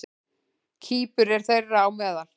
Kýpur er þeirra á meðal.